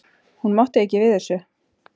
Hún mátti ekki við þessu.